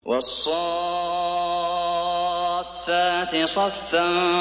وَالصَّافَّاتِ صَفًّا